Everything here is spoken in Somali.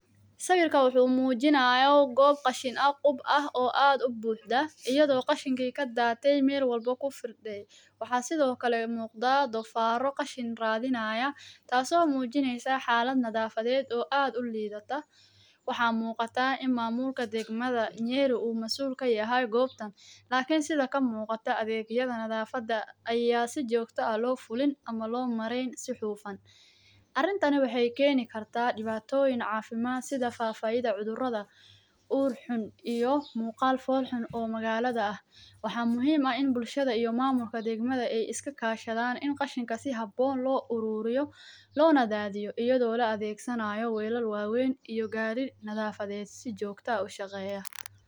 Sawirkan wuxuu mujinayaa gob qashin ah qub ah oo aad u buxda iyadho qashinki kadate meel walbo kufirde waxaa sithokale muqdaa dofaro qashin radhinaya taso mujineysa xalad nadhafaded oo aad ulidata waxaa muqataa in mamulka degmaada nyeri u masul kayahay gobtan lakin sitha kamuqato adhegyada nadhafaada aya si jogto ah lo fulin ama lo mareyn si xufan, arintani waxee keni kartaa diwatoyin cafimaad sitha fafaidha cudhuraada ur xun iyo muqal fol xun oo magalaada eh, waxaa muhiim ah in bulshaada iyo mamulka demada iska kashadhan in qashinka si habon lo ururiyo lona nadhadhiyo degmadha welal wawen iyo gari xafaded si jogto ah ushaqeya.